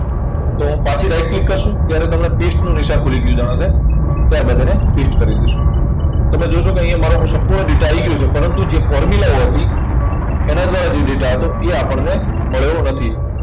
તો પાછી right click કરશું ત્યારે તમને paste નું નિશાન ખુલી ગયું જાણો કે. ત્યાર બાદ એને paste કરી દેશું. તમે જો જો કે અહીંયા મારો સંપૂર્ણ data આવી ગયો છે. પરંતુ જે formula ઓ હતી, એના દ્વારા જે data હતો, એ આપણને મળ્યો નથી.